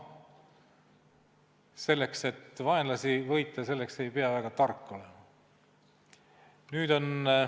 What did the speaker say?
Selleks, et vaenlasi võita, ei pea väga tark olema.